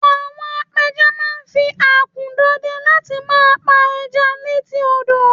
àwọn apẹja ma n fi akun dọdẹ láti ma pa eja létí odo